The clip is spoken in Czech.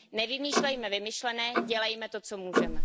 Nevymýšlejme vymyšlené, dělejme to, co můžeme.